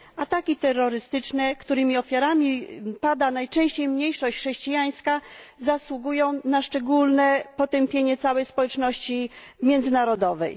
Ataki terrorystyczne, których ofiarami pada najczęściej mniejszość chrześcijańska, zasługują na szczególne potępienie całej społeczności międzynarodowej.